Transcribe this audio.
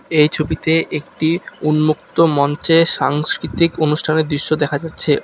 এই ছবিতে একটি উন্মুক্ত মঞ্চে সাংস্কৃতিক অনুষ্ঠানের দৃশ্য দেখা যাচ্ছে।